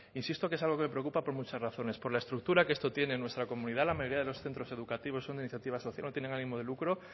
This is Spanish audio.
insisto que es algo que me preocupa por muchas razones por la estructura que esto tiene en nuestra comunidad la mayoría de los centros educativos son de iniciativa social no tienen ánimo de lucro